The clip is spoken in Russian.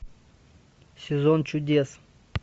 сезон чудес